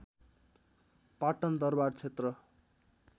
Patan दरवारक्षेत्र